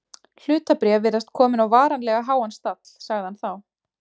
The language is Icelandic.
Hlutabréf virðast komin á varanlega háan stall sagði hann þá.